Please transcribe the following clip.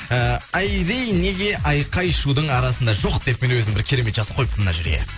і айри неге айқай шудың арасында жоқ деп мен өзім бір керемет жазып қойыппын мына жерге